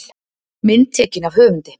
Mynd tekin af höfundi.